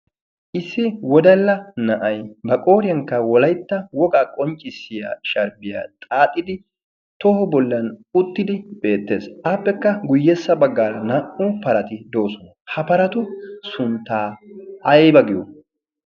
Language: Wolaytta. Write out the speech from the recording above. Issi wodalla na"ayi ba qooriyankka wolaytta wogaa qonccissiya sharbbiya xaaxidi toho bollan uttidi beettes. Appekka guyyessa baggaara naa"u parati doosona. Ha paratu sunttaa ayba giyo?